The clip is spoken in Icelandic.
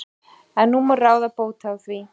En nú má ráða bóta á því.